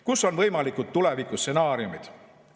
Kus on võimalikud tulevikustsenaariumid?